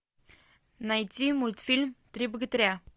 найди мультфильм три богатыря